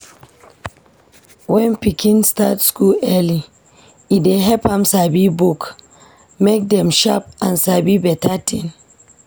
When pikin start school early, e dey help am sabi book, make dem sharp, and sabi beta tin.